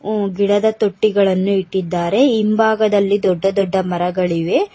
ಹು ಗಿಡದ ತೊಟ್ಟಿಗಳನ್ನು ಇಟ್ಟಿದ್ದಾರೆ ಹಿಂಭಾಗದಲ್ಲಿ ದೊಡ್ಡ ದೊಡ್ಡ ಮರಗಳಿವೆ.